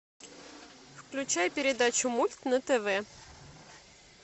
включай передачу мульт на тв